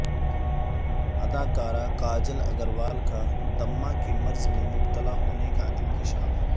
اداکارہ کاجل اگروال کا دمہ کے مرض میں مبتلا ہونے کا انکشاف